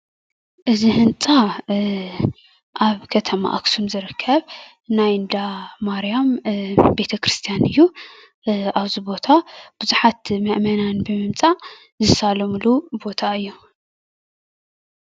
እዚ ህንፃ ኣብ ከተማ አክሱም ዝርከብ ናይ እንዳማርያም ቤተ-ክርስትያን እዩ። ኣብዚ ቦታ ብዙሓተ መእመናን ብምምፃእ ዝሳለሙሉ ባታ እዩ።